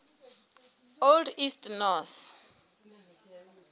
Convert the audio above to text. old east norse